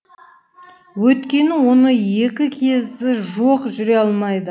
өйткені оның екі кезі жоқ жүре алмайды